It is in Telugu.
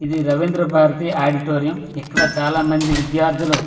ఇది రవీంద్ర భారతి ఆడిటోరియం ఇక్కడ చాలా మంది విద్యార్థులు .